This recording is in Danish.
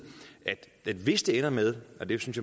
at hvis det ender med og det synes